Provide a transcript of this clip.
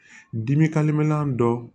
Dimi dɔ